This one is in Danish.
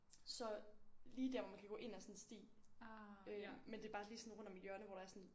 Så lige der hvor man kan gå ind af sådan en sti. Øh men det er bare lige sådan rundt om et hjørne hvor der er sådan en